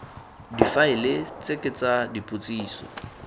difaele tse ke tsa dipotsiso